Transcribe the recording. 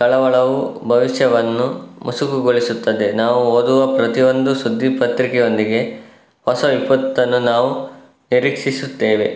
ಕಳವಳವು ಭವಿಷ್ಯವನ್ನು ಮುಸುಕುಗೊಳಿಸುತ್ತದೆ ನಾವು ಓದುವ ಪ್ರತಿಯೊಂದು ಸುದ್ದಿಪತ್ರಿಕೆಯೊಂದಿಗೆ ಹೊಸ ವಿಪತ್ತನ್ನು ನಾವು ನಿರೀಕ್ಷಿಸುತ್ತೇವೆ